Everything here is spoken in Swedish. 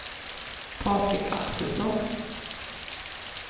Patrik Axelsson